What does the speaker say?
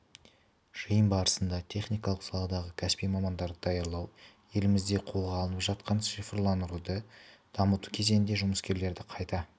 жиын барысында техникалық саладағы кәсіби мамандарды даярлау елімізде қолға алынып жатқан цифрландыруды дамыту кезенінде жұмыскерлерді қайта